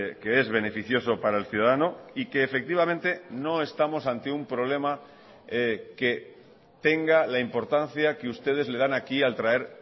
que es beneficioso para el ciudadano y que efectivamente no estamos ante un problema que tenga la importancia que ustedes le dan aquí al traer